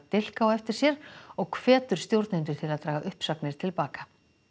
dilk á eftir sér og hvetur stjórnendur til að draga uppsagnir til baka